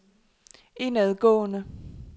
indadgående